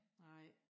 Nej